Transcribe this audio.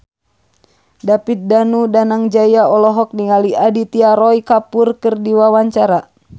David Danu Danangjaya olohok ningali Aditya Roy Kapoor keur diwawancara